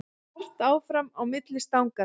Hart áfram á milli stanganna